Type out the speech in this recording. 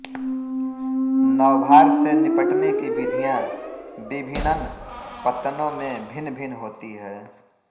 नौभार से निपटने की विधियाँ विभिनन पत्तनों में भिन्नभिन्न होती हैं